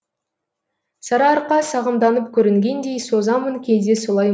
сарыарқа сағымданып көрінгендей созамын кейде солай